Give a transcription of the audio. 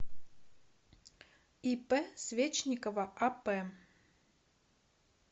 ип свечникова ап